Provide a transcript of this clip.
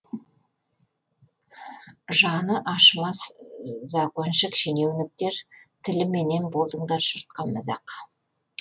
жаны ашымас законшік шенеуніктер тіліменен болдыңдар жұртқа мазақ